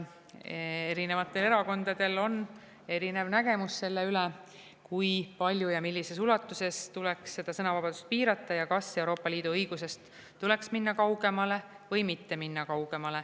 Erinevatel erakondadel on erinev nägemus sellest, kui palju ja millises ulatuses tuleks sõnavabadust piirata ja kas Euroopa Liidu õigusest tuleks minna kaugemale või mitte minna.